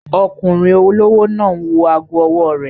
Ọkùnrin olówó náà n wọ ago ọwọ́ rẹ̀